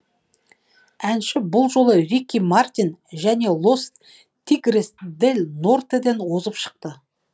әнші бұл жолы рики мартин және лос тигрес дель нортеден озып шықты